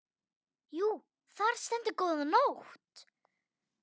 Jú, þar stendur góða nótt.